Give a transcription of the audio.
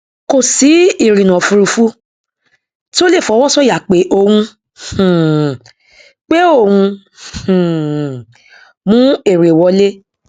kò sí ìrìnà òfurufú tí ó lè fọwọsọyà pé òun um pé òun um mú èrè wọlé